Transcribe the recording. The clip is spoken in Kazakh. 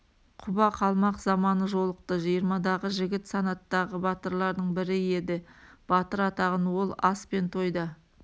құба қалмақ заманы жолықты жиырмадағы жігіт санаттағы батырлардың бірі еді батыр атағын ол ас пен тойда